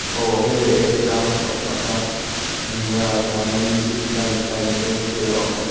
aw hei reiek tlâng chhoh nâ kha ania tah hian zip line a awm a.